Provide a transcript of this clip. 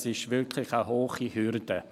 Dies ist wirklich eine hohe Hürde.